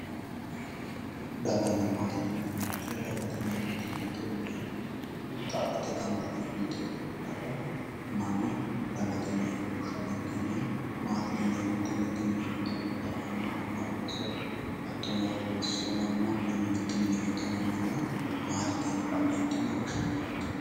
Daganna maate yineemmo woyte daga mitu olliinni xaphi yite fultinore daga manna dagate yine woshsha dandiinanni ,maatete yineemmo woyte mitu mini giddo nootta ama anna ooso hattono loso manna mitu mini giddo no manna maatete yine woshshinanni yaate.